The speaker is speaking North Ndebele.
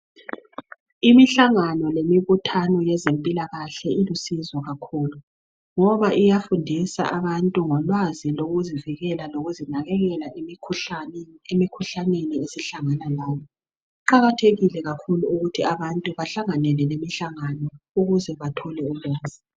Imihlangano lemibuthano yezempilakahle ilusizo kakhulu, ngoba iyafundisa abantu ngolwazi lokuzivikela lokuzinakekela emikhuhlane esihlangana layo. Kuqakathekile kakhulu ukuthi abantu bahlanganyele kule imihlangano. Ukuze bathole ulwazi.